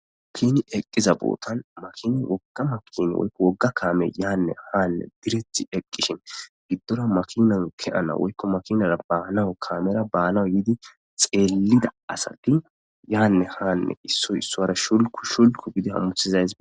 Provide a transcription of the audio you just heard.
Tuni eqqiza bootan makini woggama kiini woykko wogga kaame yaanne haanne direti eqqishin giddora makinan ke ana woykko makinara baanawu kaamera baanaw yiidi xeellida asatti yaanne haanne issoy issora shulku shulku gidi hamuhizays